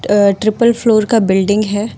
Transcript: अ triple floor का building है।